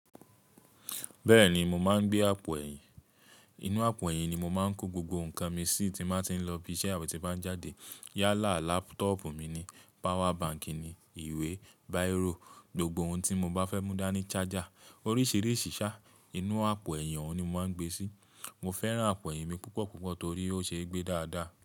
Bẹ́ẹ̀ni, mo máa ń gbé àpò ẹ̀yìn. Inú àpò ẹ̀yìn ni mo máa ń kó gbogbo nǹkan mi sí tí máa ti ń lọ ibi iṣẹ́ àbi tí bá ń jáde. Yálà laptop mi ni, power bank ni, ìwé, bírò, gbogbo ohun tí mo bá fẹ́ mú dání, charger, oríṣiríṣi sá, inú àpò ẹ̀yin ohun ni mo máa ń gbé sí. Mo fẹ́ràn àpò ẹ̀yìn mi púpọ̀ púpọ̀ torí ó ṣe é gbé dáadáa.